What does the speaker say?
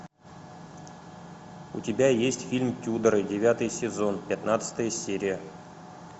у тебя есть фильм тюдоры девятый сезон пятнадцатая серия